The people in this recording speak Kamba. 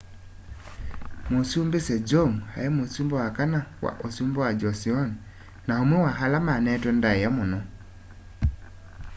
mũsumbĩ sejong aĩ mũsumbĩ wa kana wa ũsumbĩ wa joseon na ũmwe wa ala mane'twe ndaĩa mũno